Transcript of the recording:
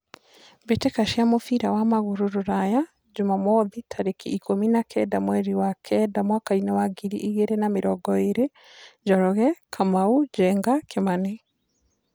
Mbĩtĩka cia mũbira wa magũrũ Ruraya Jumamwothi tarĩki ikũmi na kenda mweri wa kenda mwakainĩ wa ngiri igĩrĩ na mĩrongo ĩrĩ: Njoroge, Kamau, Njenga, Kimani.